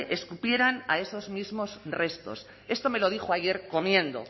escupieran a esos mismos restos esto me lo dijo ayer comiendo